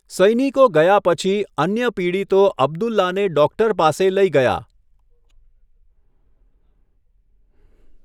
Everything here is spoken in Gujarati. સૈનિકો ગયા પછી, અન્ય પીડિતો અબ્દુલ્લાને ડૉક્ટર પાસે લઈ ગયા.